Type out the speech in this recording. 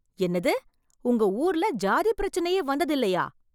என்னது உங்க ஊர்ல ஜாதி பிரச்சனையே வந்ததில்லையா